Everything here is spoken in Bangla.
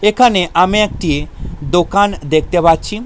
এখানে আমি একটি দোকান দেখতে পাচ্ছি।